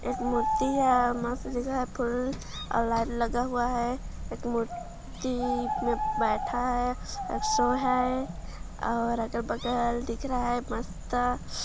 एक मूर्ति है और मस्त जगह है फुल और लाईट लगा हुआ है एक मुर्ति में बैठा है अ_सो है और अगल-बगल दिख रहा है मस्त